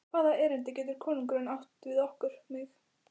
Og hvaða erindi getur konungurinn átt við okkur, mig?